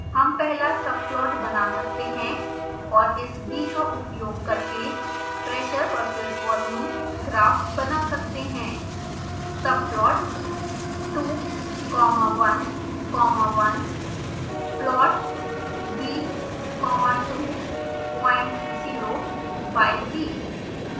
हम पहला subplot बना सकते हैं और इस v का उपयोग करके pressure v/s volume ग्राफ बना सकते हैं